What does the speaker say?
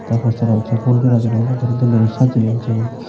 tey posteran syot pulsora diney doley sajeyon sen.